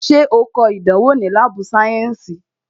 Ṣé o kọ ìdánwò ni láàbù sayensi?